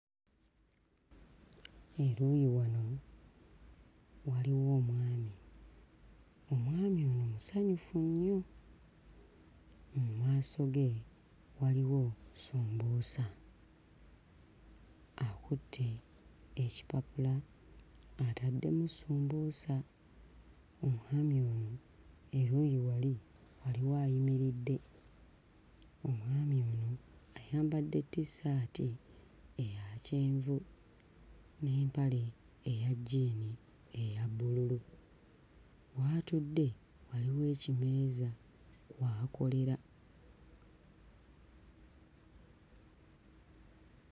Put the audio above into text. Eruuyi wano waliwo omwami, omwami ono musanyufu nnyo. Mu maaso ge waliwo sumbuusa, akutte ekipapula ataddewo sumbuusa evvuuyi wano eruuyi wali waliwo ayimiridde. Omwami ono ayambadde tissaati eya kyenvu n'empale eya jjiini eya bbululu, w'atudde waliwo ekimeeza kw'akolera.